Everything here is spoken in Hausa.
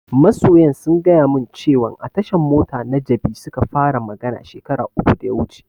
Masoyan sun gaya mun cewan a tashan mota na jabi suka fara magana shekara uku da ya wuce